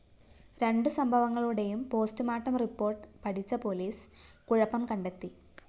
രണ്ട് സംഭവങ്ങളുടെയും postmortem report പഠിച്ച പോലീസ് കുഴപ്പം കണ്ടെത്തി